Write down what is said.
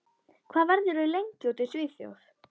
Hvað verður þú lengi úti í Svíþjóð?